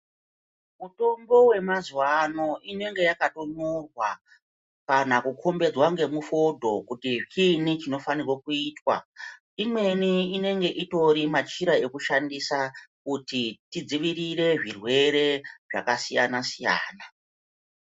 Mutombo wemazuwa ano inenge yakatonyorwa kana kukhombedzwa ngemufodho kuti chiinyi chinofanirwa kuitwa .Imweni inenge itori machira ekushandisa kuti tidzivirire zvirwere zvakasiyana siyana.